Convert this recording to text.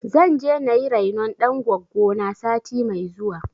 Zan je na yi rainon ɗan goggo na sati mai zuwa.